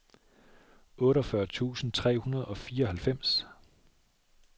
otteogfyrre tusind tre hundrede og fireoghalvfems